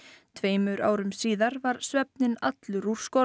tveimur árum síðar var svefninn allur úr skorðum